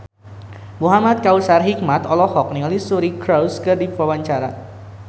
Muhamad Kautsar Hikmat olohok ningali Suri Cruise keur diwawancara